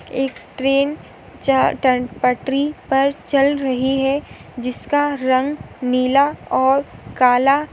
एक ट्रेन च्या पटरी पर चल रही है जिसका रंग नीला और काला --